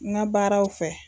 N ka baaraw fɛ